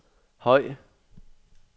høj